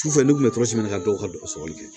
Sufɛ ne tun bɛ kɛ dɔw ka dɔgɔ sɔgɔli kɛ